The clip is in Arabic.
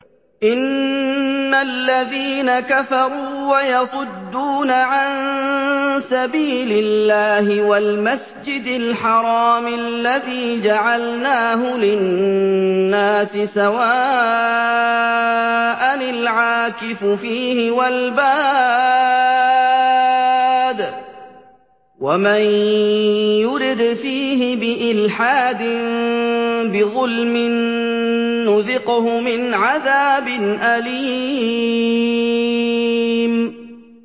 إِنَّ الَّذِينَ كَفَرُوا وَيَصُدُّونَ عَن سَبِيلِ اللَّهِ وَالْمَسْجِدِ الْحَرَامِ الَّذِي جَعَلْنَاهُ لِلنَّاسِ سَوَاءً الْعَاكِفُ فِيهِ وَالْبَادِ ۚ وَمَن يُرِدْ فِيهِ بِإِلْحَادٍ بِظُلْمٍ نُّذِقْهُ مِنْ عَذَابٍ أَلِيمٍ